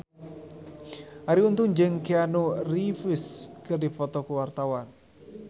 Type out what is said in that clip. Arie Untung jeung Keanu Reeves keur dipoto ku wartawan